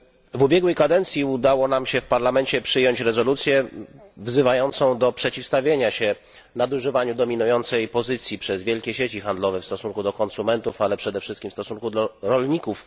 W ubiegłej kadencji udało nam się w Parlamencie przyjąć rezolucję wzywającą do przeciwstawienia się nadużywaniu dominującej pozycji przez wielkie sieci handlowe w stosunku do konsumentów, ale przede wszystkim w stosunku do rolników.